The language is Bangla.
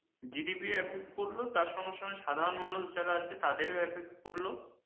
GDP effect করল তার সঙ্গে সঙ্গে সাধারণ মানুষ যারা আছে তাদেরও effect করলো।